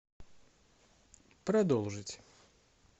продолжить